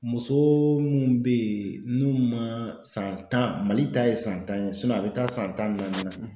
Muso mun be yen n'u ma san tan, Mali ta ye san tan ye a be taa san tan ni naani na.